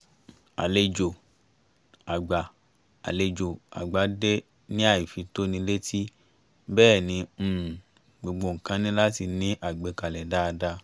àlejò àgbà àlejò àgbà dé ní àìfi-tó-ni-létí bẹ́ẹ̀ ni um gbogbo nǹkan ní láti ní àgbékalẹ̀ dáadáa